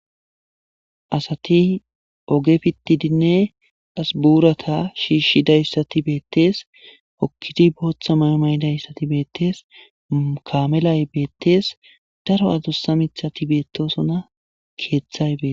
Asati oge fittidinne asbuurata shiishshidayssati beettees okkidi booththa maymaydayssati beettees kamelay beettees daro adussa mithati beettosona keeththay bee.